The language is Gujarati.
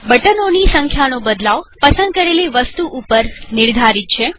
બટનોની સંખ્યાનો બદલાવપસંદ કરેલી વસ્તુ ઉપર નિર્ધારિત છે